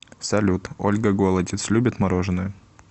салют ольга голодец любит мороженое